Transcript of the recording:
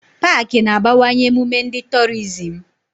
Pááki na-abawanye emume ndi torizim